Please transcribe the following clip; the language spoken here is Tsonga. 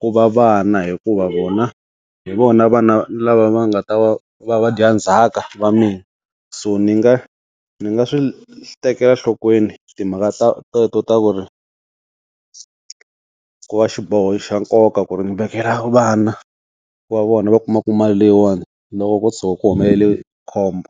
ku va vana hikuva vona hi vona vana lava va nga ta va vadyandzhaka va mina. So ndzi nga ndzi nga swi tekela nhlokweni timhaka teto ta ku ri ku va xiboho xa nkoka ku ri ndzi vekela vana ku va vona va kumaka mali leyiwani loko ko tshuka ku humelele khombo.